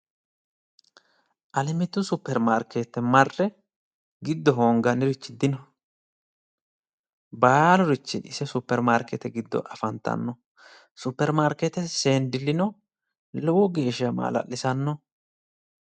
Alemitu supermarkeete marre giddo hongannirichi dino baalurichi ise supermarkeetete giddo afantanno supermarkeetete seendileno lowo geeshsha baxisanno